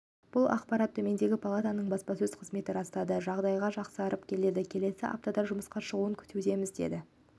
бұл ақпаратты төменгі палатаның баспасөз қызметі растады жағдайы жақсарып келеді келесі аптада жұмысқа шығуын күтудеміз деді